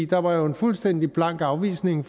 der var jo en fuldstændig blank afvisning